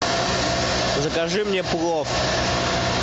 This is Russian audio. закажи мне плов